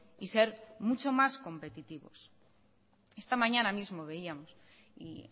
y ser mucho más competitivos esta mañana mismo veíamos y